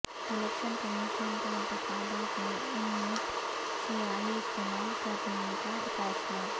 election commission کا انتخابات میں ان مٹ سیاہی استعمال کرنیکا فیصلہ